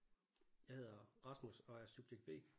Jeg hedder Rasmus og er subjekt B